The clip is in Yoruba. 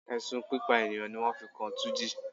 Ẹ̀sùn pípa ènìyàn ní wọ́n fi kan túnjí.